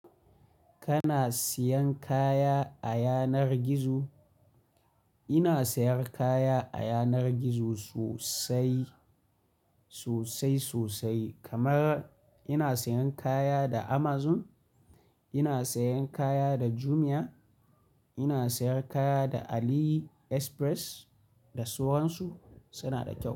Kana siyan kaya a yanar gizo? Ina sayar kaya a yanar gizo sosai, sosai-sosai. Kamar ina siyan kaya da Amazon, ina siyan kaya da Jumia, ina sayar kaya da AliExpress, da sauran su. Suna da kyau.